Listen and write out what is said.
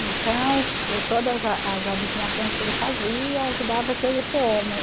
Então, e todas a as adivinhações que ele fazia, que dava que eu ia ser homem.